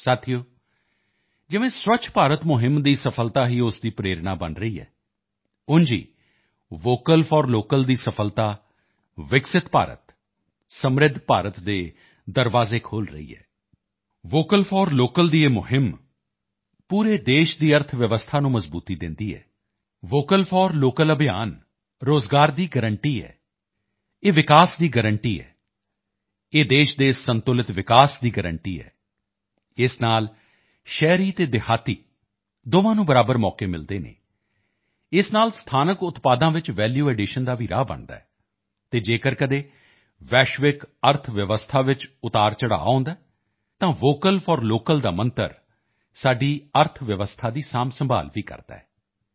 ਸਾਥੀਓ ਜਿਵੇਂ ਸਵੱਛ ਭਾਰਤ ਅਭਿਯਾਨ ਦੀ ਸਫ਼ਲਤਾ ਹੀ ਉਸ ਦੀ ਪ੍ਰੇਰਣਾ ਬਣ ਰਹੀ ਹੈ ਵੈਸੇ ਹੀ ਵੋਕਲ ਫੋਰ ਲੋਕਲ ਦੀ ਸਫ਼ਲਤਾ ਵਿਕਸਿਤ ਭਾਰਤ ਸਮ੍ਰਿੱਧ ਭਾਰਤ ਦੇ ਦਰਵਾਜ਼ੇ ਖੋਲ੍ਹ ਰਹੀ ਹੈ ਵੋਕਲ ਫੋਰ ਲੋਕਲ ਦਾ ਇਹ ਅਭਿਯਾਨ ਪੂਰੇ ਦੇਸ਼ ਦੀ ਅਰਥਵਿਵਸਥਾ ਨੂੰ ਮਜ਼ਬੂਤੀ ਦਿੰਦੀ ਹੈ ਵੋਕਲ ਫੋਰ ਲੋਕਲ ਅਭਿਯਾਨ ਰੋਜ਼ਗਾਰ ਦੀ ਗਰੰਟੀ ਹੈ ਇਹ ਵਿਕਾਸ ਦੀ ਗਰੰਟੀ ਹੈ ਇਹ ਦੇਸ਼ ਦੇ ਸੰਤੁਲਿਤ ਵਿਕਾਸ ਦੀ ਗਰੰਟੀ ਹੈ ਇਸ ਨਾਲ ਸ਼ਹਿਰੀ ਅਤੇ ਗ੍ਰਾਮੀਣ ਦੋਹਾਂ ਨੂੰ ਸਮਾਨ ਅਵਸਰ ਮਿਲਦੇ ਹਨ ਇਸ ਨਾਲ ਸਥਾਨਕ ਉਤਪਾਦਾਂ ਵਿੱਚ ਵੈਲੂ ਐਡੀਸ਼ਨ ਦਾ ਭੀ ਮਾਰਗ ਬਣਦਾ ਹੈ ਅਤੇ ਜੇਕਰ ਕਦੇ ਆਲਮੀ ਅਰਥਵਿਵਸਥਾ ਵਿੱਚ ਉਤਰਾਅਚੜ੍ਹਾਅ ਆਉਂਦਾ ਹੈ ਤਾਂ ਵੋਕਲ ਫੋਰ ਲੋਕਲ ਦਾ ਮੰਤਰ ਸਾਡੀ ਅਰਥਵਿਵਸਥਾ ਦੀ ਸੰਭਾਲ਼ ਭੀ ਕਰਦਾ ਹੈ